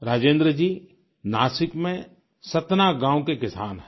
राजेन्द्र जी नासिक में सतना गाँव के किसान हैं